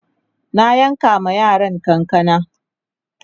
na yanka ma yaran kanakana